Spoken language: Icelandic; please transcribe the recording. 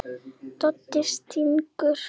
Doddi stynur.